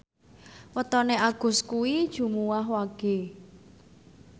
wetone Agus kuwi Jumuwah Wage